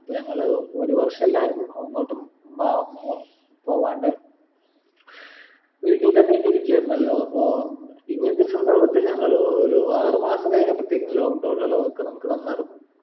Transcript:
റ്റ്ഞങ്ങൾ ഒരു വർഷെല്ലാരും അങ്ങോട്ടും വ മൊ പോവാണ്ട് വീട്ടിൽ തന്നെക്കിരിക്കായിരുന്നല്ലോ അപ്പൊ ഞങ്ങൾ ആറുമാസം കഴിഞ്ഞപ്പത്തേക്കും lock down ഇളവൊക്കെ നമ്മക്ക് തന്നാർന്നു